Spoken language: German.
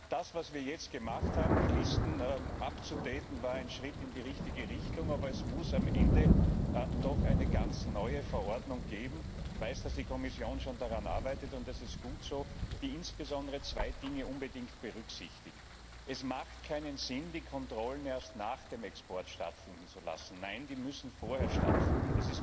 Das was wir jetzt gemacht haben, nämlich die Listen zu aktualisieren, war ein Schritt in die richtige Richtung, aber es muss am Ende doch eine ganz neue Verordnung geben ich weiß, dass die Kommission schon daran arbeitet, und das ist gut so die insbesondere zwei Dinge unbedingt berücksichtigt Es macht keinen Sinn, die Kontrollen erst nach dem Export stattfinden zu lassen nein, sie müssen vorher stattfinden.